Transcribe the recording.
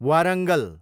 Warangal